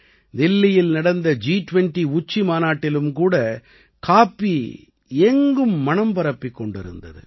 தில்லியில் நடந்த ஜி 20 உச்சிமாநாட்டிலும் கூட காப்பி எங்கும் மணம் பரப்பிக் கொண்டிருந்தது